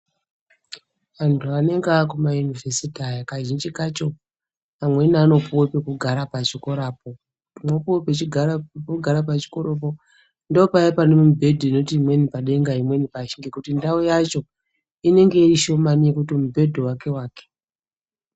Antu anenge ari kumayunivhesiti aya kazhinji kacho amweni anopiwa pekugara pachikora poeapuwa pekugara pachikora po ndopaya panemubhedhi inoti imweni padenga imweni pashi ngekuti ndau yacho inenge iri shomani yekuti mubhedhu umwe wake .